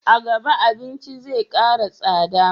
A gaba abinci zai kara tsada